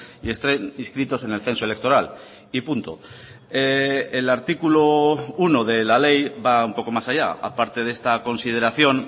y estén inscritos en el censo electoral y punto el artículo uno de la ley va un poco más allá a parte de esta consideración